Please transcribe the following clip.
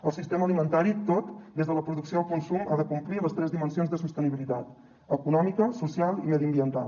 el sistema alimentari tot des de la producció al consum ha de complir les tres dimensions de sostenibilitat econòmica social i mediambiental